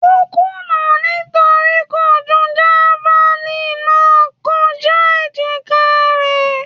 Ó kùnà nítorí kò ju javalínì náà kọjá èjìkáa rẹ̀.